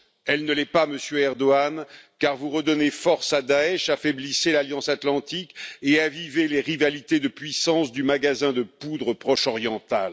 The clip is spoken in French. Elle ne l'est pas, Monsieur Erdogan, car vous redonnez force à Daech, affaiblissez l'Alliance atlantique et avivez les rivalités de puissance du magasin de poudre proche oriental.